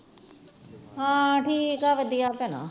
ਹਾਂ ਠੀਕ ਆ ਵਧੀਆ ਭੈਣਾਂ